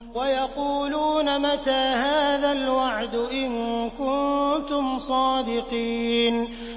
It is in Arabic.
وَيَقُولُونَ مَتَىٰ هَٰذَا الْوَعْدُ إِن كُنتُمْ صَادِقِينَ